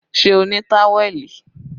Ṣé o ní táwẹ̀lì?